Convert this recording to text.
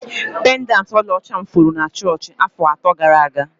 Pendanti ọlaọcha m furu na chọọchị afọ atọ gara aga.